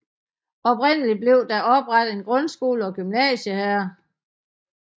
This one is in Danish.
Oprindeligt blev der oprettet en grundskole og gymnasium her